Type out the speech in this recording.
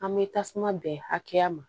An bɛ tasuma bɛn hakɛya ma